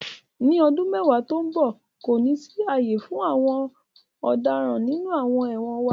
Ni ọdun mẹwa to nbọ, ko ni si aaye fun awọn ọdaràn ninu awọn ẹwọn wa